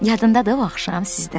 Yadındadır o axşam bizdə?